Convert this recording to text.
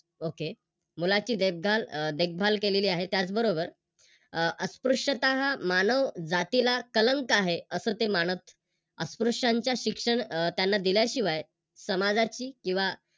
Okay मुलाची देखभाल देखभाल केलेली आहे त्याचबरोबर अस्पृश्यता हा मानव जातीला कलंक आहे अस ते मानत. अस्पृश्यांच्या शिक्षण त्यांना दिल्याशिवाय समाजाची किंवा